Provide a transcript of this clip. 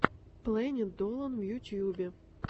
плэнит долан в ютьюбе